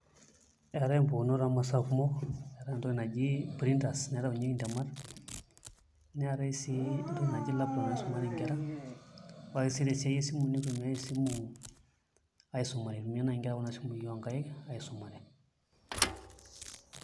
Eetai mpukunot omasaa kumo eetae entoki naji printers naitaunyeki ntemat neetae sii entoki naji laptop naisumare nkera ore si tesiai esimu nitumiai aisumie kuna simui onkaik aisumare.